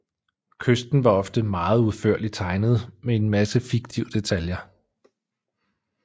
Kysten var ofte meget udførligt tegnet med en masse fiktive detaljer